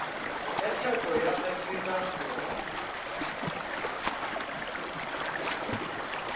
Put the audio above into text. ya tsheko ya afrika borwa